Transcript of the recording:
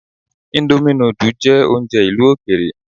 Íńdómì nudù jẹ́ oúnjẹ ìlú òkèèrè.